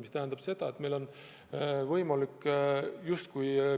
Mis tähendab seda, et meil on võimalik